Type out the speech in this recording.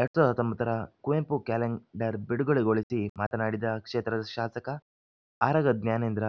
ಎರಡ್ ಸಾವಿರದ ಹತ್ತೊಂಬತ್ತರ ಕುವೆಂಪು ಕ್ಯಾಲೆಂಡರ್‌ ಬಿಡುಗಡೆಗೊಳಿಸಿ ಮಾತನಾಡಿದ ಕ್ಷೇತ್ರದ ಶಾಸಕ ಆರಗ ಜ್ಞಾನೇಂದ್ರ